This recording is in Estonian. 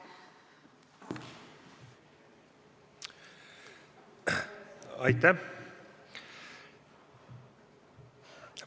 Aitäh!